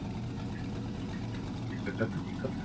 ସେଟାତ ଠିକ କଥା